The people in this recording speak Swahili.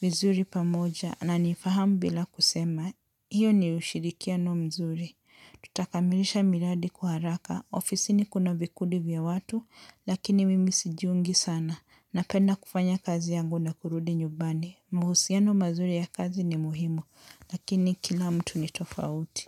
vizuri pamoja. Ananifahamu bila kusema. Hiyo ni ushirikiano mzuri. Tutakamilisha miradi kwa haraka. Ofisini kuna vikundi vya watu, lakini mimi sijiungi sana. Napenda kufanya kazi yangu na kurudi nyumbani. Mahusiano mazuri ya kazi ni muhimu, lakini kila mtu ni tofauti.